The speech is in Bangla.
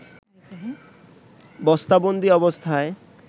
বস্তাবন্দি অবস্থায়